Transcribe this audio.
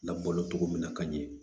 Labalo cogo min na ka ɲɛ